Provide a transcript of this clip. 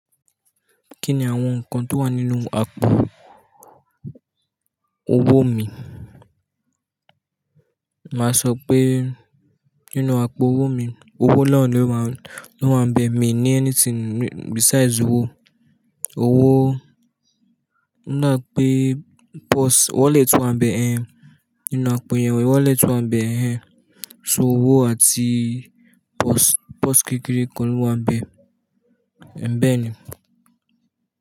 Kí ni àwọn nǹkan tó wà nínú àpò owó mi? Màá sọ pé nínú àpò owó mi, owó lọ́n ló máa ń, ló máa ń bẹ. Mi ní anything besides owó. Owó, n ó dà pé purse, wọlé tó máa ń bẹ ẹ́, nínú àpò ìyàn wọlé tó máa ń bẹ ẹ́, so owó àti purse, purse kékeré kọ́ ló máa ń bẹ, ẹ̀ bẹ́ẹ̀ ni.